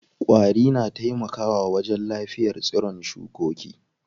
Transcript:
Ƙwari na taimaka wa wajen lafiyar tsiron shukoki.